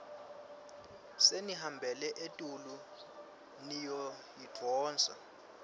senihambela etulu niyoyidvonsa